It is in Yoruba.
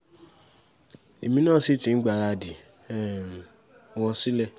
um èmi náà sì ti gbáradì mo ti múra um wọn sílẹ̀